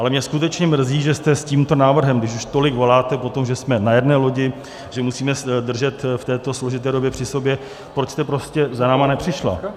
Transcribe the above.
Ale mě skutečně mrzí, že jste s tímto návrhem, když už tolik voláte po tom, že jsme na jedné lodi, že musíme držet v této složité době při sobě, proč jste prostě za námi nepřišla.